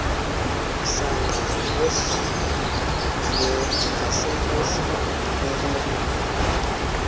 msanqa nasenkosini ubume